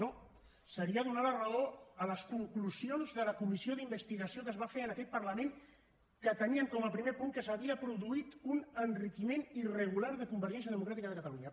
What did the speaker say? no seria donar la raó a les conclusions de la comissió d’investigació que es va fer en aquest parlament que tenien com a primer punt que s’havia produït un enriquiment irregular de convergència democràtica de catalunya